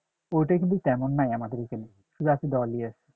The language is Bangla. ওইটা কিন্তু তেমন নাই আমাদের এখানে যা আছে দলই আছে